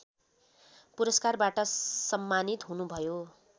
पुरस्कारबाट सम्मानित हुनुभयो